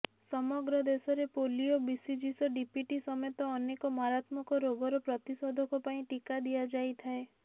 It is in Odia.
ସମଗ୍ର ଦେଶରେ ପୋଲିଓ ବିସିଜିସ ଡିପିଟି ସମେତ ଅନେକ ମାରାତ୍ମକ ରୋଗର ପ୍ରତିଶେଧକ ପାଇଁ ଟିକା ଦିଆଯାଇଥାଏ